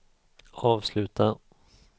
avsluta